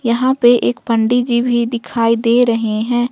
यहां पर एक पंडित जी भी दिखाई दे रहे हैं।